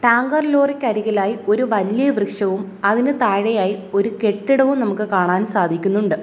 Tanker ലോറിക്ക് അരികിലായി ഒരു വലിയ വൃക്ഷവും അതിനു താഴെയായി ഒരു കെട്ടിടവും നമുക്ക് കാണാൻ സാധിക്കുന്നുണ്ട്.